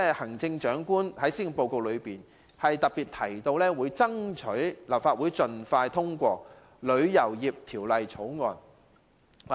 行政長官在施政報告中特別提到，會爭取立法會盡快通過《旅遊業條例草案》。